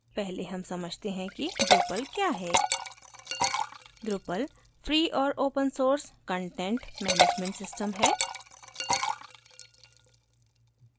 पहले हम समझते हैं कि drupal क्या है drupal free और open source content management system cms है